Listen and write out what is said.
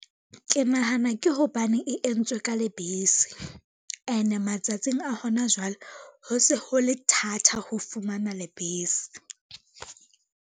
Ke nahana ke hobane e entswe ka lebese, ene matsatsing a hona jwale ho se ho le thatha ho fumana lebese.